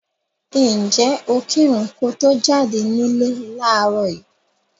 Ǹjẹ́ o kírun ko to jáde nílé láàárọ̀ yìí?